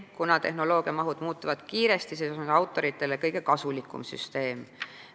Kuna tehnoloogia mahud muutuvad kiiresti, on see autoritele kõige kasulikum süsteem.